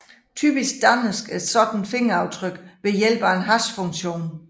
Typisk dannes et sådant fingeraftryk ved hjælp af en hashfunktion